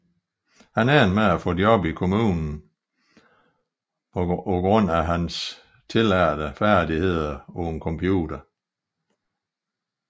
Han endte med at få et job i kommunen på grund af sine tillærte færdigheder på computeren